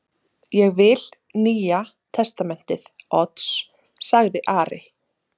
Ég vil Nýja testamentið Odds, sagði Ari.